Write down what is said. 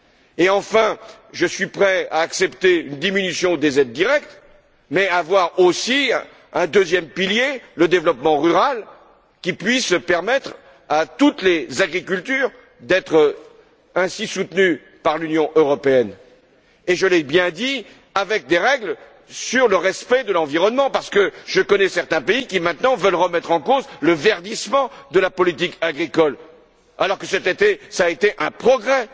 Et enfin, je suis prêt à accepter une diminution des aides directes, mais en ayant aussi un deuxième pilier, le développement rural, qui puisse permettre à toutes les agricultures d'être ainsi soutenues par l'Union européenne et je l'ai bien dit, avec des règles sur le respect de l'environnement, parce que je connais certains pays qui, maintenant, veulent remettre en cause le verdissement de la politique agricole, alors que cela a été un progrès,